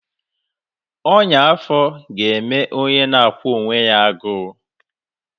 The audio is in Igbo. Ọnya afọ ga-eme onye na-akwụ onwe ya agụụ